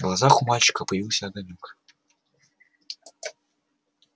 в глазах у мальчика появился огонёк